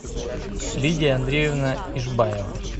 лидия андреевна ишбаева